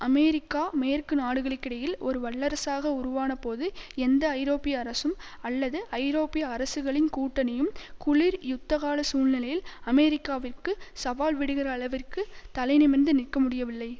America மேற்கு நாடுகளுக்கிடையில் ஒரு வல்லரசாக உருவானபோது எந்த ஐரோப்பிய அரசும் அல்லது ஐரோப்பிய அரசுகளின் கூட்டணியும் குளிர் யுத்தகால சூழ்நிலையில் அமெரிக்காவிற்கு சவால் விடுகிற அளவிற்கு தலைநிமிர்ந்து நிற்க முடியவில்லை